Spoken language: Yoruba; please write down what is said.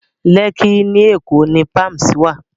Lẹ́kkí ní Èkó ni Palms wà